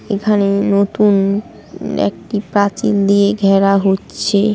এখানে নতুন একটি প্রাচীন দিয়ে ঘেরা হচ্ছে।